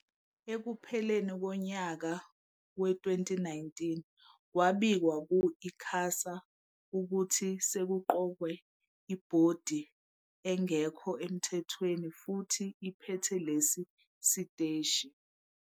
Ekupheleni konyaka we-2019, kwabikwa ku-ICASA ukuthi sekuqokwe ibhodi engekho emthethweni futhi ephethe lesi siteshi.